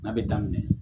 N'a bɛ daminɛ